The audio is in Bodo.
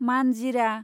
मानजिरा